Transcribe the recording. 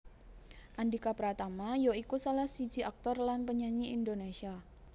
Andhika Pratama ya iku salah siji aktor lan penyanyi Indonésia